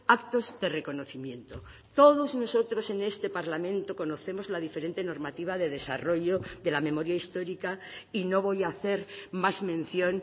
actos de reconocimiento todos nosotros en este parlamento conocemos la diferente normativa de desarrollo de la memoria histórica y no voy a hacer más mención